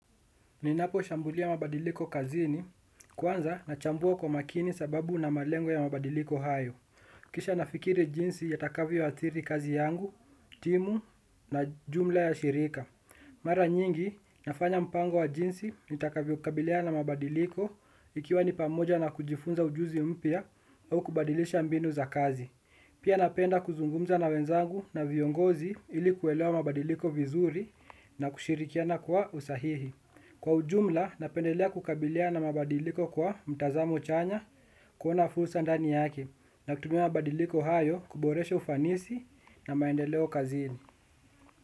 Ninapo shambulia mabadiliko kazini, kwanza nachambua kwa makini sababu na malengo ya mabadiliko hayo. Kisha nafikiri jinsi yatakavyo athiri kazi yangu, timu na jumla ya shirika. Mara nyingi, nafanya mpango wa jinsi nitakavyo kabiliana na mabadiliko ikiwa ni pamoja na kujifunza ujuzi mpya au kubadilisha mbinu za kazi. Pia napenda kuzungumza na wenzangu na viongozi ilikuwelewa mabadiliko vizuri, na kushirikiana kwa usahihi. Kwa ujumla, napendelea kukabiliana mabadiliko kwa mtazamo chanya, kuona fursa ndani yake na kutumia mabadiliko hayo kuboresha ufanisi na maendeleo kazini.